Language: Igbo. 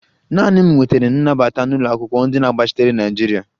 Naanị m nwetara nnabata n'ụlọakwụkwọ ndi na-agbachitere naịjirịa